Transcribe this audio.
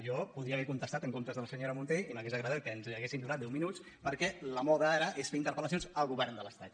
jo hi podria haver contestat en comptes de la senyora mun·té i m’hauria agradat que ens haguessin donat deu mi·nuts perquè la moda ara és fer interpel·lacions al go·vern de l’estat